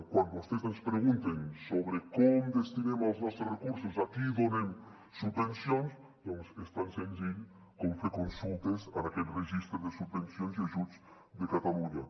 quan vostès ens pregunten sobre com destinem els nostres recursos a qui donem subvencions doncs és tan senzill com fer consultes en aquest registre de subvencions i ajuts de catalunya